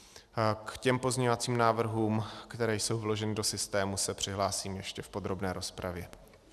K těm pozměňovacím návrhům, které jsou vloženy do systému, se přihlásím ještě v podrobné rozpravě.